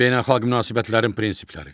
Beynəlxalq münasibətlərin prinsipləri.